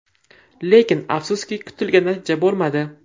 Lekin, afsuski, kutilgan natija bo‘lmadi.